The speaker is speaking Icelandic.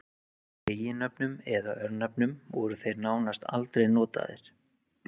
Í eiginnöfnum eða örnefnum voru þeir nánast aldrei notaðir.